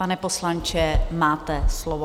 Pane poslanče, máte slovo.